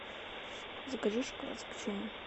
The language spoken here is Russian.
закажи шоколад с печеньем